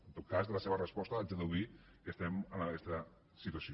en tot cas de la seva resposta haig de deduir que estem en aquesta situació